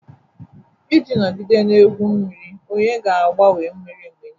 Iji nọgide na-egwu mmiri, onye ga-agbanwe mmiri mgbe niile